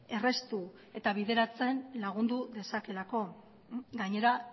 erraztu eta bideratzen lagundu dezakeelako gainera